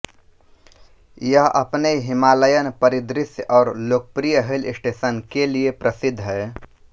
यह अपने हिमालयन परिदृश्य और लोकप्रिय हिलस्टेशन के लिए प्रसिद्ध है